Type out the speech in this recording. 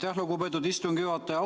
Aitäh, lugupeetud istungi juhataja!